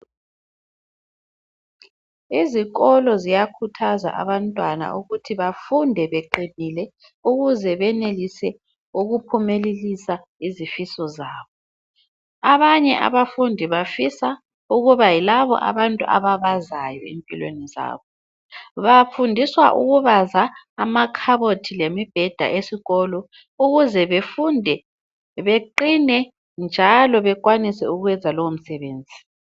Izikolo ziyakhuthaza abantwana ukuthi bafunde beqinile ukuze benelise ukuphumelelisa izifiso zabo. Abanye abafundi bafisa ukuba yilabo abantu ababazayo empilweni zabo. Bafundiswa ukubaza amakhabothi lemibheda esikolo ukuze befunde, beqine, njalo bekwanise ukwenza lowo msebenzi.